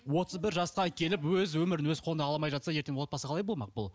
отыз бір жасқа келіп өз өмірін өз қолына ала алмай жатса ертең отбасы қалай болмақ бұл